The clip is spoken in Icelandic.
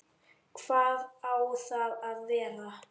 Hvar á það að vera?